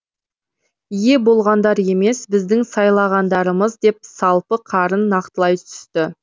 ие болғандар емес біздің сайлағандарымыз деп салпы қарын нақтылай түсті